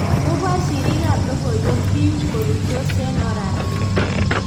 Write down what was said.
Kobor siriik ab logoiwek biik koruitos en oratinwek